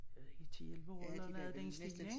Jeg ved ikke 10 11 år eller noget i den stil ik?